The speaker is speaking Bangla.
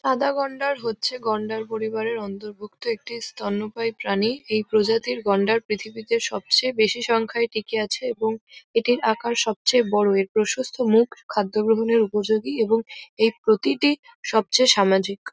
সাদা গন্ডার হচ্ছে গন্ডার পরিবারের অন্তর্গত একটি স্তন্যপায়ী প্রাণী। এই প্রজাতির গন্ডার পৃথিবীতে সবচেয়ে বেশি সংখ্যায় টিকে আছে এবং এটির আকার সবচেয়ে বড় এর প্রশস্ত মুখ খাদ্য গ্রহণের উপযোগী এবং এর প্রতিটি সবচেয়ে সামাজিক।